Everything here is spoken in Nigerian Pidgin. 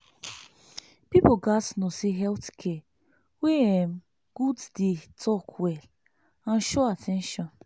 people gats know say health care wey um good dey talk well and show at ten tion.